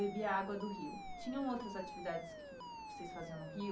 Bebia água do rio. Tinham outras atividades que vocês faziam no rio?